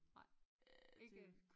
Nej ikke